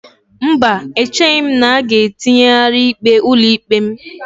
Mba, echeghị m na a ga-etinyegharị ikpe ụlọikpe m.